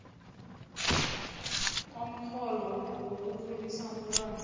komrholo wokukhulisa umntwana